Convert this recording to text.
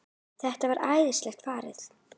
Þetta var æðisleg ferð.